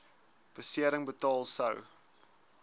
besering betaal sou